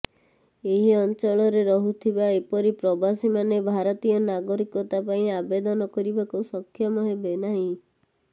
ଏହି ଅଂଚଳରେ ରହୁଥିବା ଏପରି ପ୍ରବାସୀମାନେ ଭାରତୀୟ ନାଗରିକତା ପାଇଁ ଆବେଦନ କରିବାକୁ ସକ୍ଷମ ହେବେ ନାହିଁ